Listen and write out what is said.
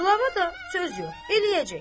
Qlava da söz yox, eləyəcək.